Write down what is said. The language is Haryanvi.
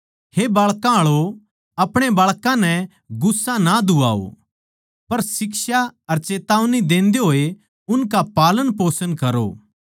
हे बाळकां आळो अपणे बाळकां नै गुस्सा ना दुवाओ पर शिक्षा अर चेतावनी देंदे होए उनका पालन पोषण करो